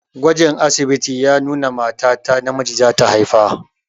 Gwajin asibiti ya nuna mata ta namiji zata haifa.